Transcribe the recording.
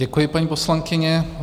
Děkuji, paní poslankyně.